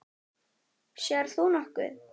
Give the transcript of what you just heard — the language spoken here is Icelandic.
Sérð þú nokkuð?